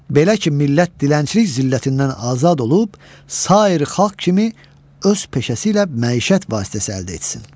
Belə ki, millət dilənçilik zillətindən azad olub, sair xalq kimi öz peşəsi ilə məişət vasitəsi əldə etsin.